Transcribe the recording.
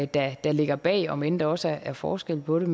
der der ligger bag om end der også er forskel på det